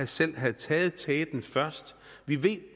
selv havde taget teten vi ved